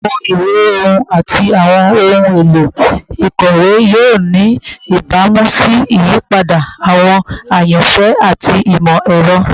Awọn iwe ohun ati awọn ohun elo ikọwe yoo ni ibamu si iyipada awọn ayanfẹ ati imọ-ẹrọ